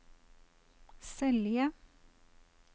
Selje